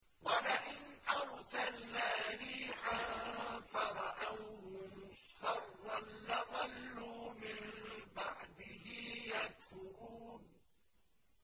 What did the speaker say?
وَلَئِنْ أَرْسَلْنَا رِيحًا فَرَأَوْهُ مُصْفَرًّا لَّظَلُّوا مِن بَعْدِهِ يَكْفُرُونَ